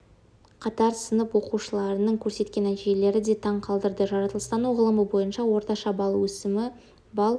қатар сынып оқушыларының көрсеткен нәтижелері де таң қалдырды жаратылыстану ғылымы бойынша орташа балл өсімі балл